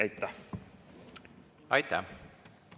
Aitäh!